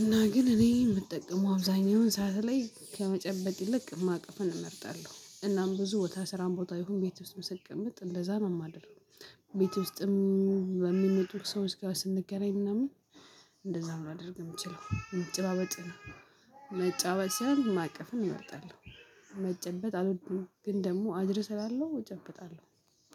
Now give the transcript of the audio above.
እና ግን እኔ የምጠቀመው አብዛኛውን ሰዓት ላይ ከመጨበጥ ይልቅ ማቀፍን እመርጣለሁ። እናም ብዙ ቦታ ስራን ቦታ ይሁን ቤት ውስጥ ስቀመጥ እንደዛ ማደርገው። ቤት ውስጥም በሚመጡ ሰዎች ጋር ስንገናኝ ምናምን እንደዛ ሊያደርግ የሚችለው መጨባበጥ ነው። መጨባበጥ ማቀፍም እመርጣለሁ። መጨበጥ አልወድም ግን ደግሞ አድርሰላለሁ እጨብጣለሁ።